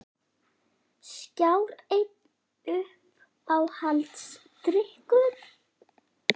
Skjár einn Uppáhaldsdrykkur?